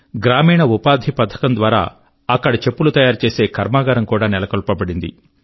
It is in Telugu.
గ్రామీణ ఉపాధి మిషన్ యొక్క సహాయం ద్వారా అక్కడ చెప్పులు తయారుచేసే కర్మాగారం కూడా నెలకొల్పబడింది